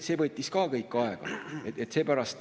See võttis kõik aega.